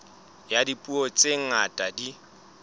ya dipuo tse ngata di